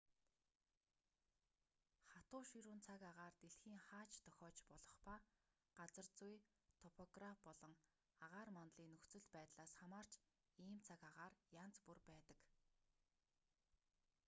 хатуу ширүүн цаг агаар дэлхийн хаа ч тохиож болох ба газар зүй топограп болон агаар мандлын нөхцөл байдлаас хамаарч ийм цаг агаар янз бүр байдаг